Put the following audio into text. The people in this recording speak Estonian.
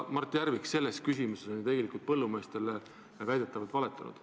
Mart Järvik on selles küsimuses ju tegelikult põllumeestele valetanud.